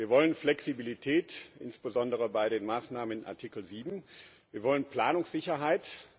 Wir wollen Flexibilität, insbesondere bei den Maßnahmen in Artikel 7, wir wollen Planungssicherheit.